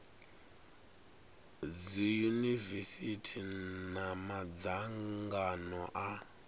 dzi yunivesithi na madzangano a